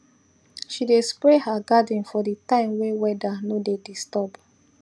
she dey spray her garden for the time way weather no dey disturb